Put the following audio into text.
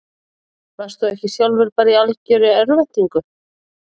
Varst þú ekki sjálfur bara í algjörri örvæntingu?